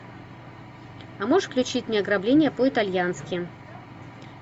а можешь включить мне ограбление по итальянски